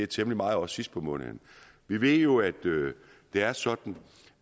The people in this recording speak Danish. temmelig meget også sidst på måneden vi ved jo at det er sådan